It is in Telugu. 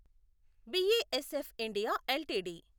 BASF India LTD